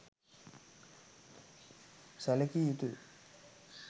සැළකිය යුතු ය